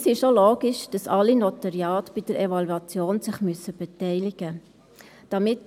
Es ist auch logisch, dass sich an der Evaluation alle Notariate beteiligen müssen.